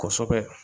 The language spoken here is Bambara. Kosɛbɛ